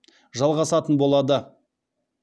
жалғасатын болады